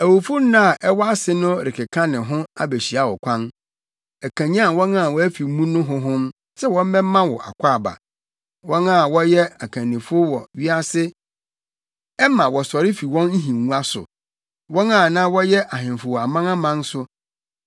Awufo nna a ɛwɔ ase no rekeka ne ho abehyia wo kwan; ɛkanyan wɔn a wɔafi mu no honhom sɛ wɔmmɛma wo akwaaba, wɔn a na wɔyɛ akannifo wɔ wiase ɛma wɔsɔre fi wɔn nhengua so, wɔn a na wɔyɛ ahemfo wɔ amanaman so.